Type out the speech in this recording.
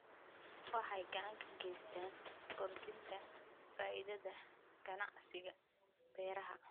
Waxay gacan ka geystaan ??kordhinta faa'iidada ganacsiga beeraha.